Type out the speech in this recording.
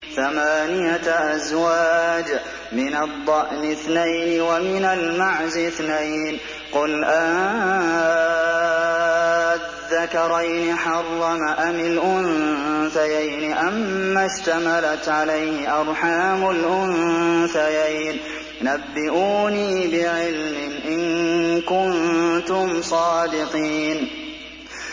ثَمَانِيَةَ أَزْوَاجٍ ۖ مِّنَ الضَّأْنِ اثْنَيْنِ وَمِنَ الْمَعْزِ اثْنَيْنِ ۗ قُلْ آلذَّكَرَيْنِ حَرَّمَ أَمِ الْأُنثَيَيْنِ أَمَّا اشْتَمَلَتْ عَلَيْهِ أَرْحَامُ الْأُنثَيَيْنِ ۖ نَبِّئُونِي بِعِلْمٍ إِن كُنتُمْ صَادِقِينَ